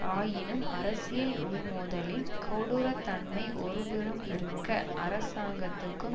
ஆயினும் அரசியல் உள் மோதலின் கொடூரத் தன்மை ஒருபுறம் இருக்க அரசாங்கத்துக்கும்